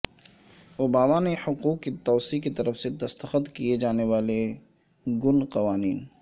Obama نے حقوق کی توسیع کی طرف سے دستخط کئے جانے والے گن قوانین